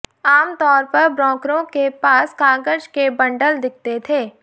आम तौर पर ब्रोकरों के पास कागज के बंडल दिखते थे